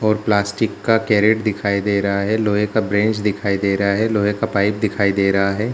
और प्लास्टिक का कैरेट दिखाई दे रहा है और लोहे का ब्रेंच दिखाई दे रहा है लोहे का पाइप दिखाई दे रहा है ।